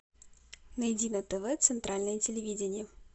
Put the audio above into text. найди на тв центральное телевидение